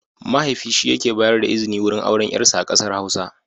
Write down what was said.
Mahaifi shi yake bayar da izini wurin auren yarsa a kasar Hausa.